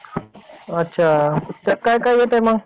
अच्छा त्यात काय काय येतंय मग?